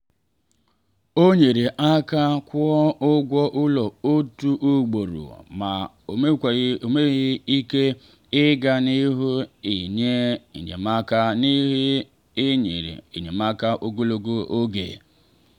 ọ nyere aka kwụọ ụgwọ ụlọ otu ugboro ma o mewaghị ike ịga n’ihu inye enyemaka n’ihu inye enyemaka ogologo oge.